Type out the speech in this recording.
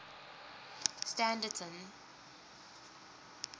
standerton